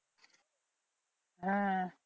হ্যাঁ